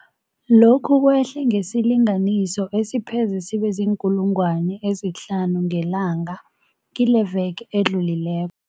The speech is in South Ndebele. Lokhu kwehle ngesilinganiso esipheze sibe ziinkulungwana ezihlanu ngelanga kileveke edlulile